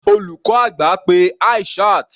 Olùkọ́ àgbà pe Aishat.